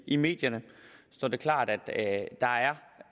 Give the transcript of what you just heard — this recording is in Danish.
i medierne står det klart at der er